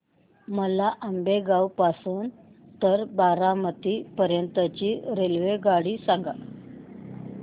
मला आंबेगाव पासून तर बारामती पर्यंत ची रेल्वेगाडी सांगा